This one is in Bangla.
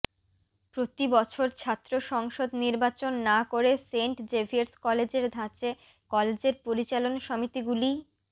প্রতি বছর ছাত্র সংসদ নির্বাচন না করে সেন্ট জেভিয়ার্স কলেজের ধাঁচে কলেজের পরিচালন সমিতিগুলিই